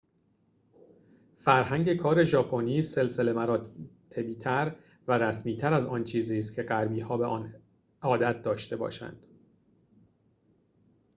فرهنگ کار ژاپنی سلسله مراتبی تر و رسمی تر از آن چیزی ست که غربی‌ها به آن عادت داشته باشند